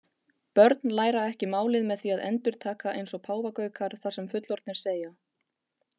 Börn læra ekki málið með því að endurtaka eins og páfagaukar það sem fullorðnir segja.